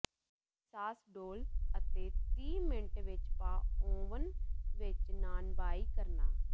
ਸਾਸ ਡੋਲ੍ਹ ਅਤੇ ਤੀਹ ਮਿੰਟ ਵਿੱਚ ਪਾ ਓਵਨ ਵਿਚ ਨਾਨਬਾਈ ਕਰਨਾ